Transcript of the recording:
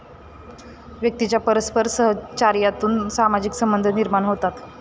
व्यक्तीच्या परस्पर सहचार्यातून सामाजिक संबंध निर्माण होतात.